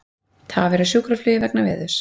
Tafir á sjúkraflugi vegna veðurs